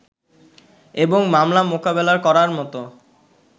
এবং মামলা মোকাবেলা করার মত